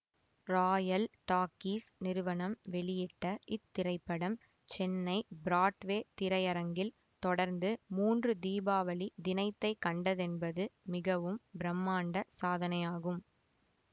Royal talkies நிறுவனம் வெளியிட்ட இத்திரைப்படம் சென்னை ப்ராட்வே திரை அரங்கில் தொடர்ந்து மூன்று தீபாவளி தினைத்தைக்கண்டதென்பது மிகவும் பிரமாண்ட சாதனையாகும்